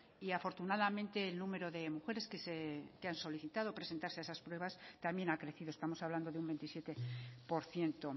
y afortunadamente el número de mujeres que han solicitado presentarse a esas pruebas también ha crecido estamos hablando de un veintisiete por ciento